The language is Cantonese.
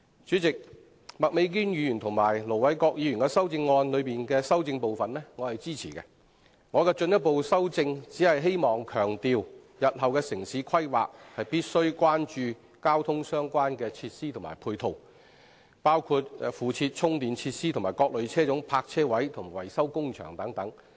主席，我支持麥美娟議員和盧偉國議員的修正案，我的進一步修正是希望強調，日後的城市規劃必須關注交通配套設施，包括附設充電設施的各類車種泊車位，以及車輛維修工場等。